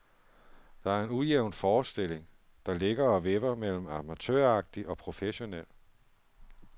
Det er en ujævn forestillling, der ligger og vipper mellem amatøragtig og professionel.